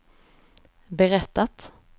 berättat